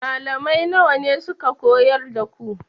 Malamai nawa ne suka koyar da ku?